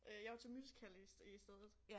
Øh jeg var til musical i i stedet